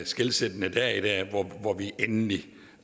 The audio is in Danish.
skelsættende dag i dag hvor vi endelig